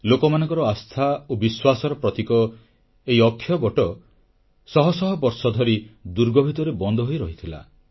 ଲୋକମାନଙ୍କର ଆସ୍ଥା ଓ ବିଶ୍ୱାସର ପ୍ରତୀକ ଏହି ଅକ୍ଷୟବଟ ଶହ ଶହ ବର୍ଷ ଧରି ଦୁର୍ଗ ଭିତରେ ବନ୍ଦ ହୋଇ ରହିଥିଲା